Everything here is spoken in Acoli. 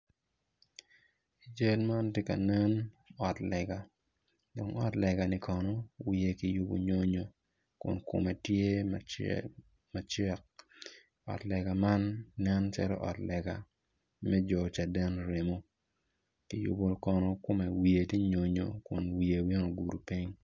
I cal man ti ka nen ot lega dong ot lega-ni kono wiye ki yubu nyonyo kun kome tye macek ot lega man nen calo ot lega me jo caden remo ki yubu kono kome wiye ti nyonyo kun obino ogudu piny